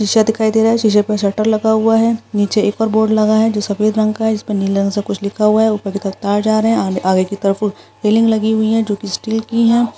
शीशे दिखाई दे रहा है शीशे पर स्वेटर लगा हुआ है नीचे एक बार बोर्ड लगा है जो सफेद रंग का है इस पर नीलम से कुछ लिखा हुआ है ऊपर की तरफ तार जा रहे हैं आगे की तरफ फीलिंग लगी हुई है जो की स्टील की है।